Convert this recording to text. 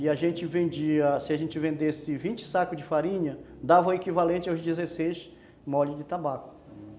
E a gente vendia, se a gente vendesse vinte sacos de farinha, dava o equivalente aos dezesseis molhos de tabaco.